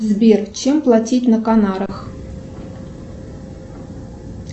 сбер чем платить на канарах